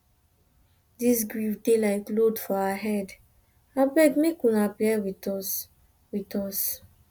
dis grief dey like load for our head abeg make una bear wit us wit us